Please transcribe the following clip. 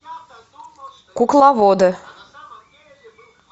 кукловоды